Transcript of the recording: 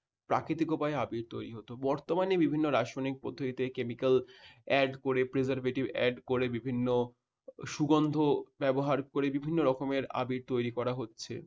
প্রাকৃতিক উপায়ে আবির তৈরি হতো বর্তমানে বিভিন্ন রাসায়নিক পদ্ধতিতে chemical add করে preservative add করে বিভিন্ন সুগন্ধ ব্যবহার করে বিভিন্ন রকমের আবির তৈরি করা হচ্ছে।